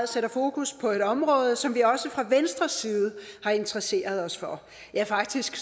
sætter fokus på et område som vi også fra venstres side har interesseret os for ja faktisk